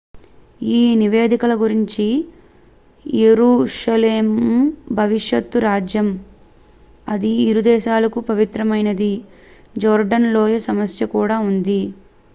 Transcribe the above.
ఈ నివేదికల గురించి యెరూషలేము భవిష్యత్తు రాజ్యం అది ఇరు దేశాలకు పవిత్రమైనది జోర్డాన్ లోయ సమస్య కూడా ఉంది